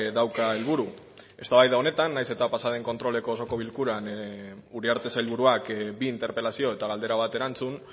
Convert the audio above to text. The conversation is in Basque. dauka helburu eztabaida honetan nahiz eta pasaden kontroleko osoko bilkuran uriarte sailburuak bi interpelazio eta galdera bat erantzun